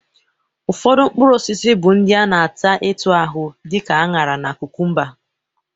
Ụfọdụ mkpụrụosisi bụ ndị a na-ata etu ahụ dị ka añara na kụkụmba